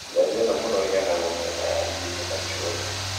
Njanjo ĩno mũno ĩheanagwo mĩena ya iria inĩ na gĩcũa-inĩ